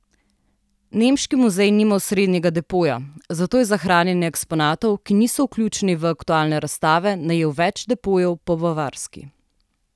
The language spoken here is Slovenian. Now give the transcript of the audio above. Nemški muzej nima osrednjega depoja, zato je za hranjenje eksponatov, ki niso vključeni v aktualne razstave, najel več depojev po Bavarski.